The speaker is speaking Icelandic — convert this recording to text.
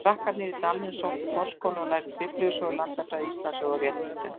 Krakkarnir í dalnum sóttu farskóla og lærðu Biblíusögur, landafræði, Íslandssögu og réttritun.